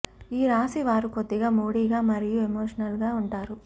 ఈ రాశి వారు కొద్దిగా మూడీగా మరియు ఎమోషనరల్ గా ఉంటారు